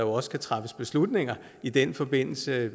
også skal træffes beslutninger i den forbindelse